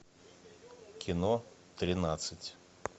кино тринадцать